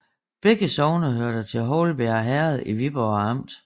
Begge sogne hørte til Houlbjerg Herred i Viborg Amt